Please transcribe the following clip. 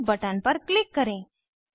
save button पर click करें